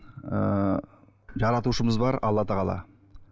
ыыы жаратушымыз бар алла тағала